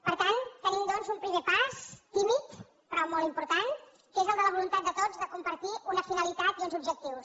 per tant tenim doncs un primer pas tímid però molt important que és el de la voluntat de tots de compartir una finalitat i uns objectius